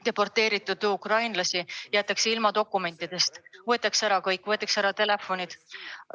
Deporteeritud ukrainlased jäetakse ilma dokumentidest, kõik võetakse ära, ka telefonid.